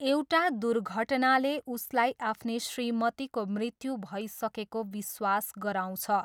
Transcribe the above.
एउटा दुर्घटनाले उसलाई आफ्नी श्रीमतीको मृत्यु भइसकेको विश्वास गराउँछ।